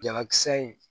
Jagakisɛ in